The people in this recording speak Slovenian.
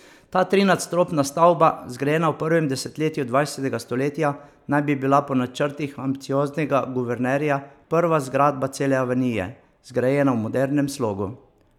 Ta trinadstropna stavba, zgrajena v prvem desetletju dvajsetega stoletja, naj bi bila po načrtih ambicioznega guvernerja prva zgradba cele avenije, zgrajene v modernem slogu.